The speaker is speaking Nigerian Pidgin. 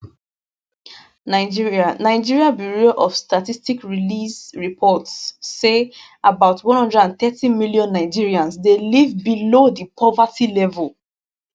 nigeria nigeria bureau of statistics release um report say about 130 million nigerians dey leave below di poverty level